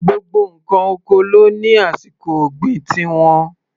Gbogbo ǹkan oko ló ní àsìkò ọ̀gbìn ti wọn.